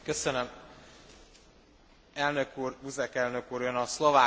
Elnök úr, Buzek elnök úr, ön a szlovák magyar vitáról beszélt.